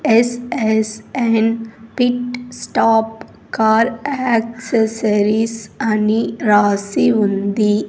SSN pit stop car accessories అని రాసి ఉంది.